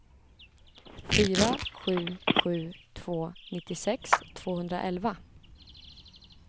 fyra sju sju två nittiosex tvåhundraelva